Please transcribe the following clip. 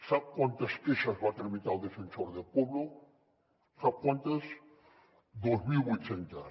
sap quantes queixes va tramitar el defensor del pueblo sap quantes dos mil vuit centes